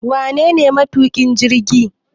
Wanene matukin jirgi?